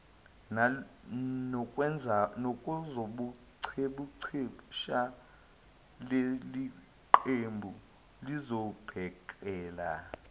nakwezobuchepheshe leliqembu lizobhekela